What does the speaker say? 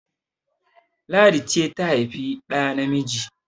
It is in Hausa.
Ladi ce ta haifi ɗa namiji!